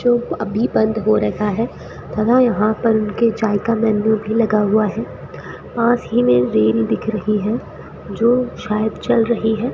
जो अभी बंद हो रखा है हमें यहां पर उनके चाय का मेनू भी लगा हुआ है पास ही में रेल दिख रही है जो शायद चल रही है।